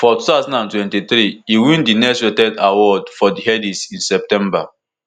for two thousand and twenty-three e win di next rated award for di headies in september